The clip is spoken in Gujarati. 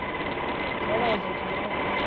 બરાબર ભાઈ